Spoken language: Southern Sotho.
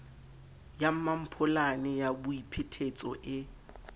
ya mmampholane ya boiphetetso e